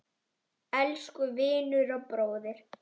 Elsku vinur og bróðir.